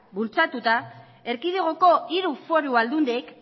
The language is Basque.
bultzatuta erkidegoko hiru foru aldundiek